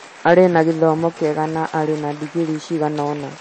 arĩ na gĩthomo kĩega na arĩ na digirii cigana ũna